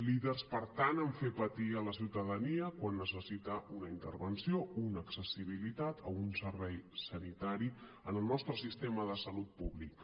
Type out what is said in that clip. líders per tant a fer patir la ciutadania quan necessita una intervenció una accessibilitat o un servei sanitari en el nostre sistema de salut públic